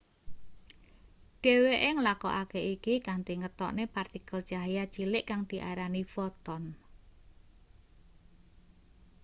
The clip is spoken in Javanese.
dheweke nglakokake iki kanthi ngetokne partikel cahya cilik kang diarani foton